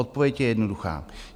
Odpověď je jednoduchá.